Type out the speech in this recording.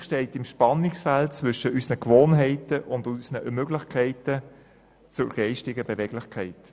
Energiepolitik steht im Spannungsfeld zwischen unseren Gewohnheiten und unserer geistigen Beweglichkeit.